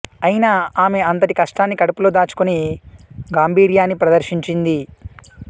అయినా ఆమె అంతటి కష్టాన్ని కడుపులో దాచుకొని గాంభీర్యాన్ని ప్రదర్శించింది